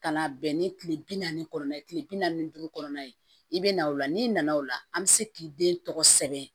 Ka na bɛn ni kile bi naani kɔnɔna ye kile bi naani ni duuru kɔnɔna ye i bɛ na o la n'i nana o la an bɛ se k'i den tɔgɔ sɛbɛn